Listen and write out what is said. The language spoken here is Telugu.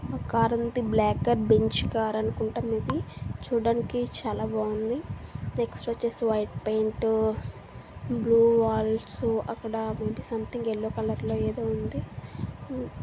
ఒక కార్ ఉంది అది బ్లాక్ బెంచ్ కారనుకుంటే మీది చూడడానికి చాలా బాగుంది ఎక్స్ట్రా చేసి వైట్ పెయింట్ అక్కడ సంథింగ్ ఎల్లో కలర్ లో ఏదో ఉంది.